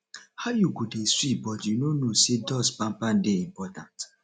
how you go dey sweep but you no know say dust pan pan dey important